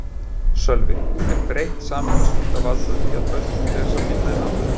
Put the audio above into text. Sölvi: Er breytt samfélagsmynd að valda því að börn lesa minna en áður?